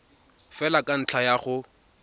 fela ka ntlha ya go